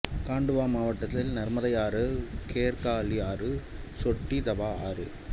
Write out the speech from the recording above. காண்டுவா மாவட்டத்தில் நர்மதை ஆறு கேர்காளி ஆறு சோட்டி தவா ஆறு